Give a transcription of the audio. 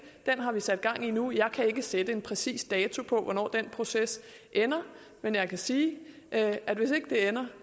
den har vi sat gang i nu jeg kan ikke sætte en præcis dato på hvornår den proces ender men jeg kan sige at at hvis ikke det ender